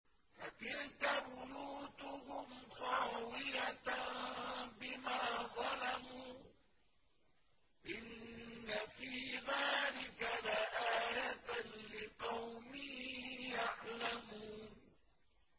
فَتِلْكَ بُيُوتُهُمْ خَاوِيَةً بِمَا ظَلَمُوا ۗ إِنَّ فِي ذَٰلِكَ لَآيَةً لِّقَوْمٍ يَعْلَمُونَ